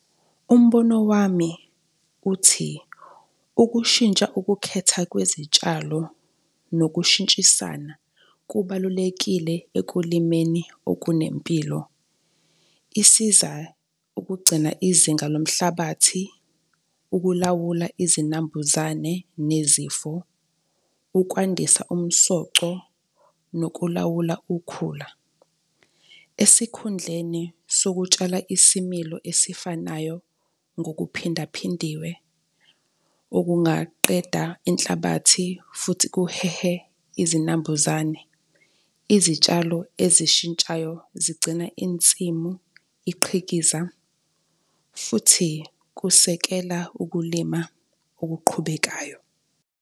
Umbono wami uthi ukushintsha ukukhetha kwezitshalo nokushintshisana kubalulekile ekulimeni okunempilo. Isiza ukugcina izinga lomhlabathi, ukulawula izinambuzane nezifo, ukwandisa umsoco nokulawula ukhula. Esikhundleni sokutshala isimilo esifanayo ngokuphindaphindiwe okungaqeda inhlabathi futhi kuhehe izinambuzane, izitshalo ezishintshayo zigcina insimu iqhikiza futhi kusekela ukulima okuqhubekayo.